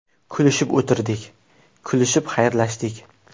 Kulishib o‘tirdik, kulishib xayrlashdik.